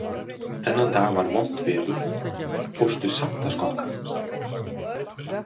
Þennan dag var vont veður, fórstu samt að skokka?